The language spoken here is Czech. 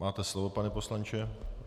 Máte slovo, pane poslanče.